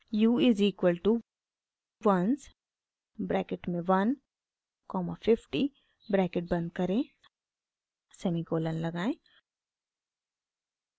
u is equal to ones bracket में 1 comma 50 bracket बंद करें सेमीकोलन लगाएं